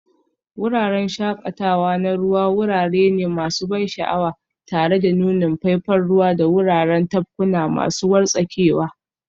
Wuraren shakatawa na ruwa wurare ne masu ban sha'awa tare da nunin faifan ruwa da wuraren tafkuna masu wartsakewa.